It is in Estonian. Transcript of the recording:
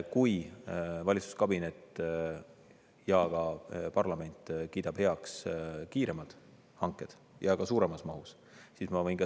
Kui valitsuskabinet ja parlament kiidavad heaks kiiremad hanked ja ka suuremas mahus, siis.